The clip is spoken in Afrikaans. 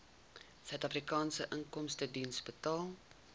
suidafrikaanse inkomstediens betaal